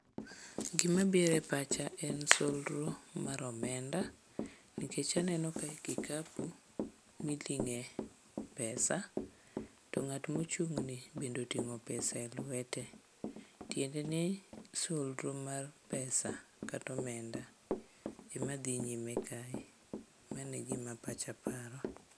Gima biro epacha en solro mar omenda, nikech aneno kae kikapu miting'e pesa to ng'at mochung'ni bende otin g'o püesa elwete. Tiende ni solro mar pesa kata omenda emadhi nyime kae. Mano e gima pacha paro.